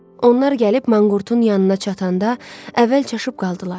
Onlar gəlib manqurtun yanına çatanda əvvəl çaşıb qaldılar.